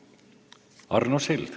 Arno Sild.